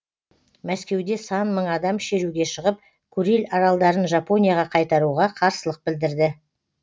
мәскеуде сан мың адам шеруге шығып куриль аралдарын жапонияға қайтаруға қарсылық білдірді